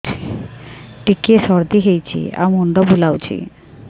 ଟିକିଏ ସର୍ଦ୍ଦି ହେଇଚି ଆଉ ମୁଣ୍ଡ ବୁଲାଉଛି